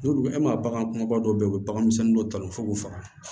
N'olu e ma bagan kumabaw dɔ ye u bɛ bagan misɛnnin dɔ ta f'u k'u faga